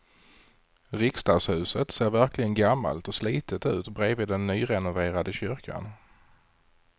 Riksdagshuset ser verkligen gammalt och slitet ut bredvid den nyrenoverade kyrkan.